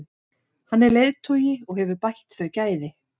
Hann er leiðtogi og hefur bætt þau gæði.